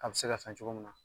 A bɛ se ka fɛn cogo mun na